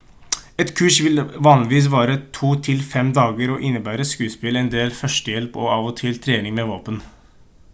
et kurs vil vanligvis vare to til fem dager og innebærer skuespill en del førstehjelp og av og til trening med våpen